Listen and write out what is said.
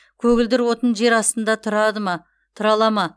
көгілдір отын жерастында тұрады ма тұра ала ма